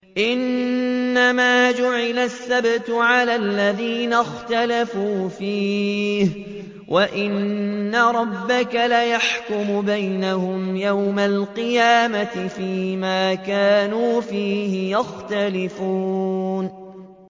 إِنَّمَا جُعِلَ السَّبْتُ عَلَى الَّذِينَ اخْتَلَفُوا فِيهِ ۚ وَإِنَّ رَبَّكَ لَيَحْكُمُ بَيْنَهُمْ يَوْمَ الْقِيَامَةِ فِيمَا كَانُوا فِيهِ يَخْتَلِفُونَ